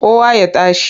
Kowa ya tashi!